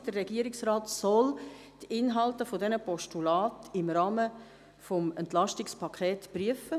Der Regierungsrat soll die Inhalte dieser Postulate im Rahmen des Entlastungspakets prüfen.